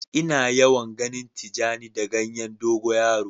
Ina yawan ganin tijani da ganyen dogo yaro.